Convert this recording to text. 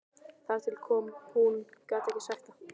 Þegar til kom,- hún gat ekki sagt það.